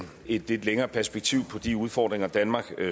et lidt længere perspektiv på de udfordringer danmark